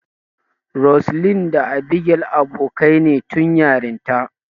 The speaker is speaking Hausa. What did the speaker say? Roseline da Abigail abokaine tun yarinta.